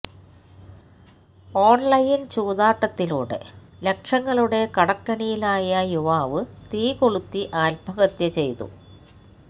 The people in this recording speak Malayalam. ഓൺലൈൻ ചൂതാട്ടത്തിലൂടെ ലക്ഷങ്ങളുടെ കടക്കെണിയിലായ യുവാവ് തീകൊളുത്തി ആത്മഹത്യ ചെയ്തു